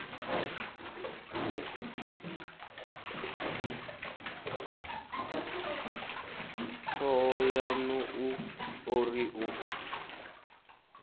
thohoyanḓ ou o ri u